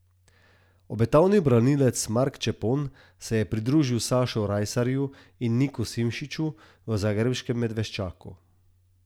Obetavni branilec Mark Čepon se je pridružil Sašu Rajsarju in Niku Simšiču v zagrebškem Medveščaku.